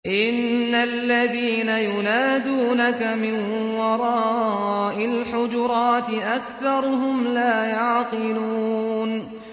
إِنَّ الَّذِينَ يُنَادُونَكَ مِن وَرَاءِ الْحُجُرَاتِ أَكْثَرُهُمْ لَا يَعْقِلُونَ